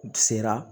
U sera